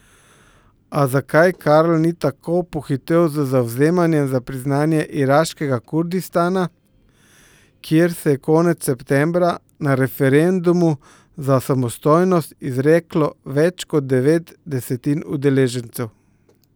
A zakaj Karl ni tako pohitel z zavzemanjem za priznanje iraškega Kurdistana, kjer se je konec septembra na referendumu za samostojnost izreklo več kot devet desetin udeležencev?